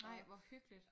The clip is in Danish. Nej hvor hyggeligt